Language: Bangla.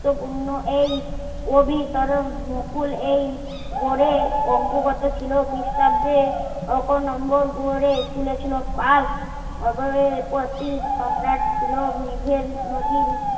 গুরুত্বপূর্ণ এই অধিকরণ নকল এই গড়ে অগবত ছিল ক্রিস্টাব্দে এখন অন্দর গড়ে খুলেছিলো কাল প্রতি সম্রাট ছিলো মেঘের নদীর